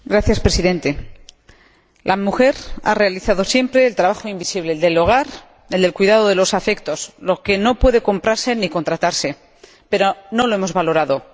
Señor Presidente, la mujer ha realizado siempre el trabajo invisible el del hogar, el del cuidado de los afectos, lo que no puede comprarse ni contratarse. Pero no lo hemos valorado.